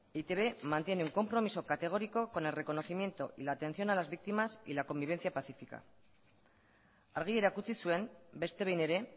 e i te be mantiene un compromiso categórico con el reconocimiento y la atención de las víctimas y la convivencia pacifica argi erakutsi zuen beste behin ere